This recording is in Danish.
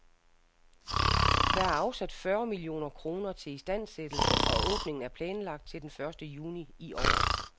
Der er afsat fyrre millioner kroner til istandsættelse, og åbningen er planlagt til den første juni i år.